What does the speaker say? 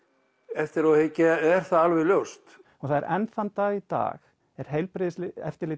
eftirá að hyggja er það alveg ljóst og enn þann dag í dag er heilbrigðiseftirlitið